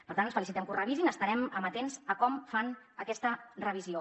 per tant ens felicitem que ho revisin estarem amatents a com fan aquesta revisió